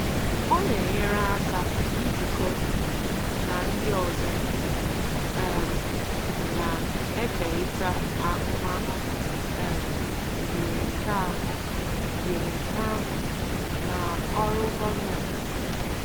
Ọ na-enyere aka ijikọ na ndị ọzọ um na-ekerịta ahụmahụ um yiri nke ahụ yiri nke ahụ na ọrụ gọọmentị.